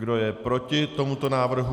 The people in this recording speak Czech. Kdo je proti tomuto návrhu?